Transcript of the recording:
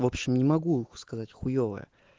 в общем не могу сказать хуевая